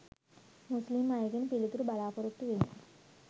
මුස්ලිම් අයගෙන් පිළිතුරු බලා පොරොත්තු වෙමි.